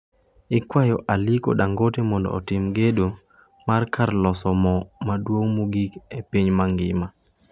IKwayo Aliko Dangote mondo otim gedo mar kar loso mo maduong' mogik e piny mangima